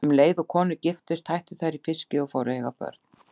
Um leið og konur giftust hættu þær í fiski og fóru að eiga börn.